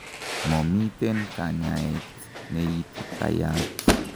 momiten kanyaet neititayat